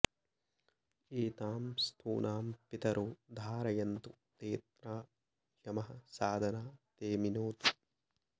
ए॒तां स्थूणां॑ पि॒तरो॑ धारयन्तु॒ तेऽत्रा॑ य॒मः साद॑ना ते मिनोतु